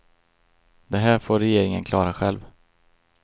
Det här får regeringen klara själv.